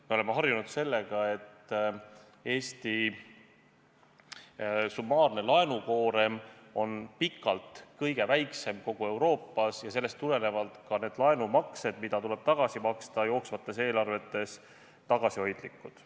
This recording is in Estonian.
Me oleme harjunud sellega, et Eesti summaarne laenukoorem on pikalt kõige väiksem kogu Euroopas ja sellest tulenevalt ka need laenumaksed, mida tuleb tagasi maksta jooksvates eelarvetes, tagasihoidlikud.